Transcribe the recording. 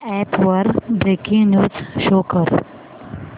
app वर breaking news show कर